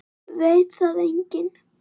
Veit það enginn?